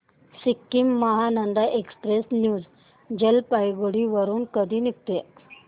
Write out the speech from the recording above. Sikkim Mahananda express New Jalpaiguri वरून कधी निघते